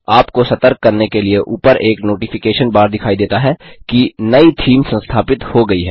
आपको सतर्क करने के लिए ऊपर एक नोटिफिकेशन नोटिफिकेशन बार दिखाई देता है कि नई थीम संस्थापित हो गई है